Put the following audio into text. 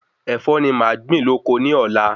Ẹ̀fọ́ ni màá gbin lóko ni Ọ̀la